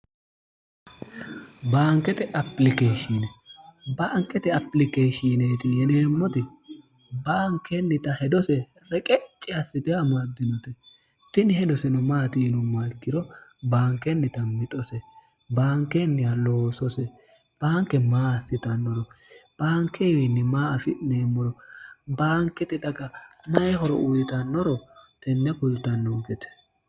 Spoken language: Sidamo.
baankete apilikeeshshini baankete apilikeeshshiineeti yeneemmoti baankennita hedose reqecci assite amaddinote tini hedoseno maatiinumma ikkiro baankennita mixose baankennih loosose baanke maa assitannoro baankewiinni maa afi'neemmoro baankete daga mayihoro uyitannoro tenne kultannoo gete